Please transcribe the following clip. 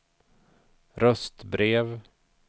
röstbrev